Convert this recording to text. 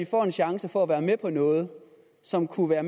får en chance for at være med noget som kunne være